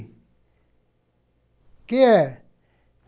O que é?